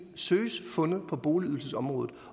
søges fundet på boligydelsesområdet